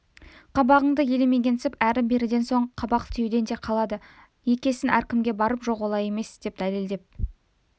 қабағыңды елемегенсіп әрі-беріден соң қабақ түюден де қалады екесін әркімге барып жоқ олай емес деп дәлелдеп